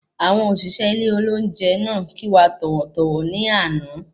Àwọn òṣìṣẹ́ ilé olóúnjẹ náà kí wa tọ̀wọ̀-tọ̀wọ̀ ní àná